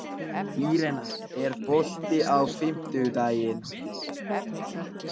Irene, er bolti á fimmtudaginn?